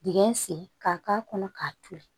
Dingɛ sen ka k'a kɔnɔ k'a toli